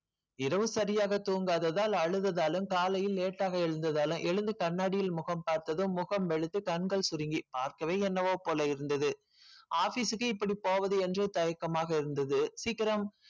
இரவு சரியாக தூங்காததால் காலையில் late ஆகா எழுந்ததாலும் எழுந்து காலையில் கண்ணாடி முகம் பார்த்ததும் முகம் சுலுங்கி கண்கள் சுருங்கி பார்க்கவும் எண்ணம்போல் இருந்தது office க்கு இப்படி போவது தயக்கமாக இருந்தது சீக்கரம்